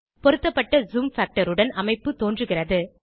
பொருத்தப்பட்ட zoom factor உடன் அமைப்புத் தோன்றுகிறது